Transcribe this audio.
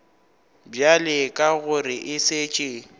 bjale ka gore e šetše